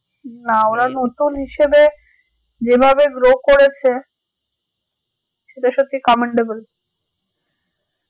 না ওরা নতুন হিসাবে যে ভাবে grow করেছে সেটা সত্যি commendable